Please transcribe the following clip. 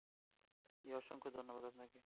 জি অসংখ্য ধন্যবাদ আপনাকে